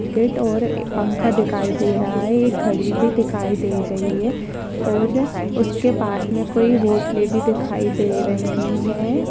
Gate और एक पंखा दिखाई दे रहा है एक घड़ी भी दिखाई दे रही है और उसके पास मे कोई हॉटेल भी दिखाई दे रही है।